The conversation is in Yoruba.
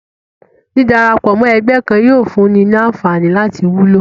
dídarapọ̀ mọ́ ẹgbẹ́ kan yóò fún un ní anfààní láti wúlò